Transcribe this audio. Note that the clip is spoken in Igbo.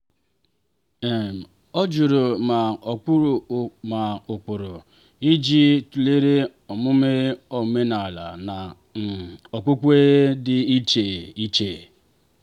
um ọ jụrụ ma ụkpụrụ ma ụkpụrụ ejiji tụlere omume omenala na um okpukpe dị iche iche.